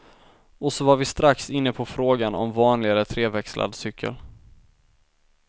Och så var vi strax inne på frågan om vanlig eller treväxlad cykel.